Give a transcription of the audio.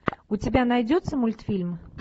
у тебя найдется мультфильм